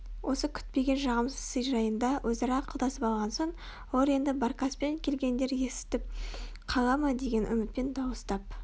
осы күтпеген жағымсыз сый жайында өзара ақылдасып алған соң олар енді баркаспен келгендер естіп қала ма деген үмітпен дауыстап